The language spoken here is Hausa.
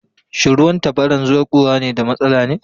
Shin ruwan tabaran zuƙowa na da matsala ne?